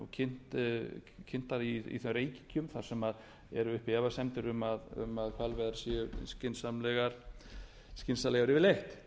ferðamenn kynntar í þeim ríkjum þar sem eru uppi efasemdir að hvalveiðar séu skynsamlegar yfirleitt